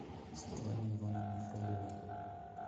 светлане ивановне фроловой